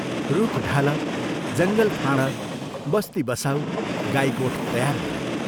रूख ढाल, जङ्गल फाँड, बस्ती बसाऊ गाई गोठ तयार गर।